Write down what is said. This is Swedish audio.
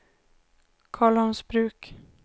Karlholmsbruk